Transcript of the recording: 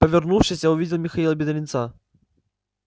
повернувшись я увидел михаила бедренца